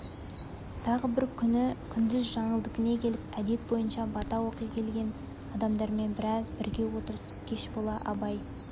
тағы бір күні күндіз жаңылдыкіне келіп әдет бойынша бата оқи келген адамдармен біраз бірге отырысып кеш бола абай